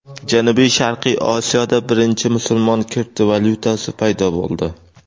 Janubi-sharqiy Osiyoda birinchi musulmon kriptovalyutasi paydo bo‘ldi.